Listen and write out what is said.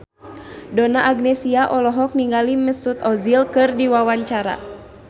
Donna Agnesia olohok ningali Mesut Ozil keur diwawancara